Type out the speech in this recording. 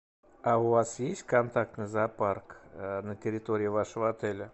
а у вас есть контактный зоопарк на территории вашего отеля